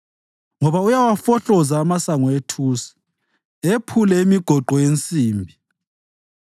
ngoba uyawafohloza amasango ethusi ephule imigoqo yensimbi.